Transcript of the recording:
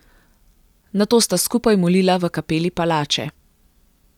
Nato sta skupaj molila v kapeli palače.